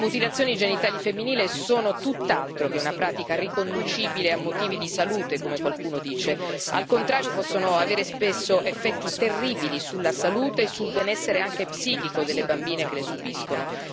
Le mutilazioni genitali femminili sono tutt'altro che una pratica riconducibile a motivi di salute, come qualcuno dice, ma al contrario possono avere spesso effetti terribili sulla salute e sul benessere anche psichico delle bambine che le subiscono.